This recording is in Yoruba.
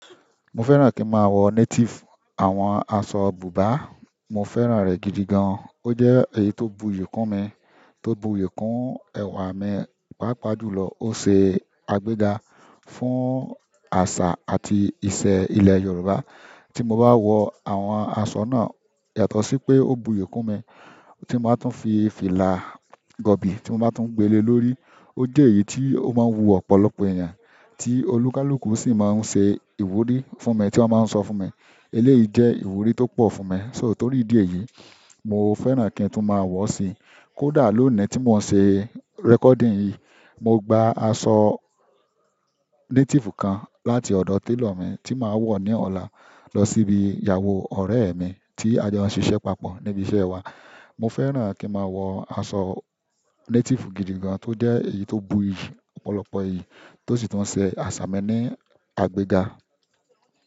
Mo fẹ́ràn kí n máa wọ native. Àwọn aṣọ bùbá, mo fẹ́ràn rẹ̀ gidi gan. Ó jẹ́ èyí tó buyì kún mi, tó buyì kún ẹwà mi, pàápàá jùlọ ó ṣe agbẹ́ga fún àṣà àti ìṣe ilẹ̀ Yorùbá. Tí mo bá wọ àwọn aṣọ náà, yàtọ̀ sí pé ó buyì kún mi, tí mo bá tún fi fìlà gọ̀bì tí mo bá tún gbele lórí, ó jẹ́ èyí tí ó máa ń wu ọ̀pọ̀lọpọ̀ èèyàn, tí onikaluku sì máa ń ṣe ìwúrí fún mi tí wọ́n máa ń sọ fún mi. Eléyìí jẹ́ ìwúrí tó pọ̀ fún mi. So torí ìdí èyí, mo fẹ́ràn kí n tún máa wọ̀ ọ́ sì. Kódà lónìí tí mo ṣe recording yìí, mo gba aṣọ native kan láti ọ̀dọ̀ tailor mi tí màá wọ̀ ní ọ̀la lọ síbi ìyàwó ọ̀rẹ́ mi tí a jọ ń ṣiṣẹ́ papọ̀ níbi iṣẹ́ wa. Mo fẹ́ràn kí n máa wọ aṣọ native gidi gan tó jẹ́ èyí tó buyì ọ̀pọ̀lọpọ̀ ìyí, tó sì tún ṣe àṣà mi ní agbẹ́ga.